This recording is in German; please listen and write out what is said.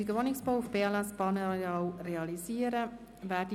Gemeinnützigen Wohnungsbau auf BLS-Bahnarealen realisieren» ab.